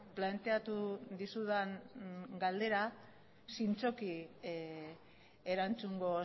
planteatu dizudan galdera zintzoki erantzungo